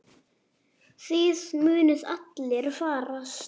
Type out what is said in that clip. Þið munuð allir farast.